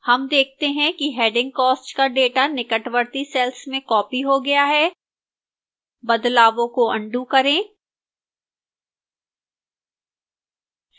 हम देखते हैं कि heading cost का data निकटवर्ती cells में copied हो गया है बदलावों को अन्डू करें